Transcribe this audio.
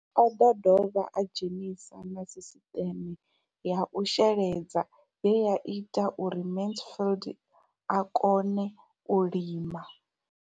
O ḓo dovha a dzhenisa na sisiṱeme ya u sheledza ye ya ita uri Mansfied a kone u lima.